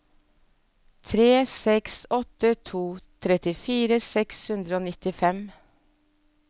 tre seks åtte to trettifire seks hundre og nittifem